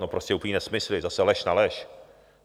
No prostě úplné nesmysly, zase lež na lež.